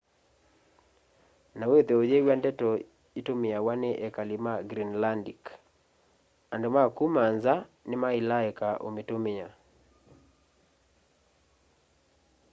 na withwe uyiw'a ndeto itumiawa ni ekali ma greenlandic andu ma kuma nza nimaila eka umitumia